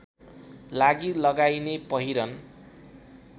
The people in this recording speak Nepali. लागि लगाइने पहिरन